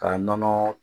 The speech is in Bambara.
K'a nɔnɔ